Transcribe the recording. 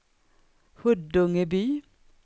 Huddungeby